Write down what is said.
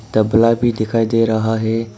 तबला भी दिखाई दे रहा है।